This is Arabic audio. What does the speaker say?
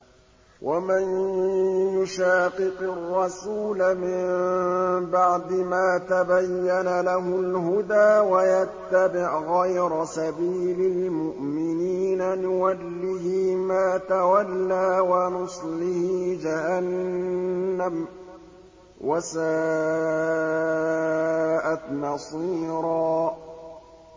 وَمَن يُشَاقِقِ الرَّسُولَ مِن بَعْدِ مَا تَبَيَّنَ لَهُ الْهُدَىٰ وَيَتَّبِعْ غَيْرَ سَبِيلِ الْمُؤْمِنِينَ نُوَلِّهِ مَا تَوَلَّىٰ وَنُصْلِهِ جَهَنَّمَ ۖ وَسَاءَتْ مَصِيرًا